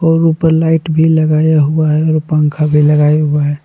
और ऊपर लाइट भी लगाया हुआ है और पंखा भी लगा हुआ है।